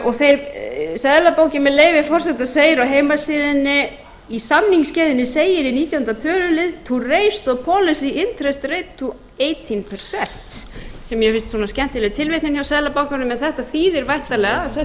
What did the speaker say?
og seðlabankinn með leyfi forseta segir á heimasíðunni í samningsgerðinni segir í nítjánda tölulið to interest to átján percent sem mér finnst svona skemmtileg tilvitnun hjá seðlabankanum en þetta þýðir væntanlega að þessi